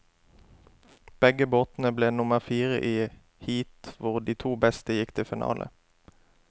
Begge båtene ble nummer fire i heat hvor de to beste gikk til finale.